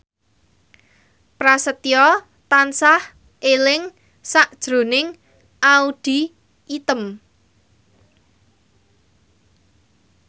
Prasetyo tansah eling sakjroning Audy Item